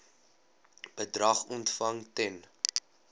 bedrag ontvang ten